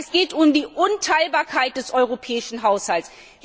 Aber es geht um die Unteilbarkeit des Europäischen Haushalts.